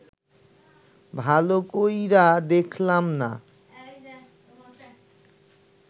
ভাল কইরা দেখলাম না